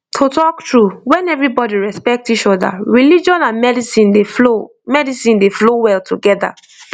to talk true when everybody respect each other religion and medicine dey flow medicine dey flow well together